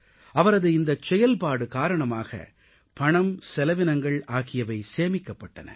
அவரது இந்தச் செயல்பாடு காரணமாக பணம் செலவினங்கள் ஆகியவை சேமிக்கப்பட்டன